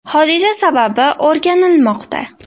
Hodisa sababi o‘rganilmoqda.